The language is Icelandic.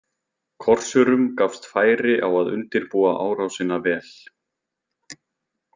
Korsurum gafst færi á að undirbúa árásina vel.